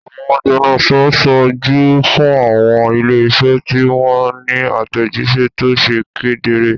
Àwọn agbẹnusọ ń ṣojú fún àwọn ilé-iṣẹ́ tí wọ́n ní àtẹ̀jíṣẹ́ tó ṣe kedere.